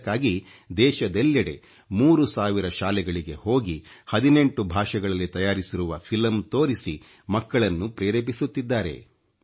ಇದಕ್ಕಾಗಿ ದೇಶದೆಲ್ಲೆಡೆ 3 ಸಾವಿರ ಶಾಲೆಗಳಿಗೆ ಹೋಗಿ 18 ಭಾಷೆಗಳಲ್ಲಿ ತಯಾರಿಸಿರುವ ಫಿಲಂ ತೋರಿಸಿ ಮಕ್ಕಳನ್ನು ಪ್ರೇರೇಪಿಸುತ್ತಿದ್ದಾರೆ